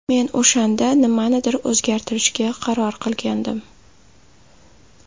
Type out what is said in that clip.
Men o‘shanda nimanidir o‘zgartirishga qaror qilgandim.